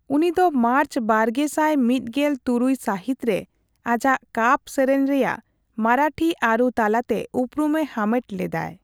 ᱩᱱᱤ ᱫᱚ ᱢᱟᱨᱪ ᱵᱟᱨᱜᱮᱥᱟᱭ ᱢᱤᱛᱜᱮᱞ ᱛᱩᱨᱩᱭ ᱥᱟᱹᱦᱤᱛ ᱨᱮ ᱟᱡᱟᱜ ᱠᱟᱯ ᱥᱮᱨᱮᱧ ᱨᱮᱭᱟᱜ ᱢᱟᱨᱟᱴᱷᱤ ᱟᱹᱨᱩ ᱛᱟᱞᱟᱛᱮ ᱩᱯᱨᱩᱢᱮ ᱦᱟᱢᱮᱴ ᱞᱮᱫᱟᱭ ᱾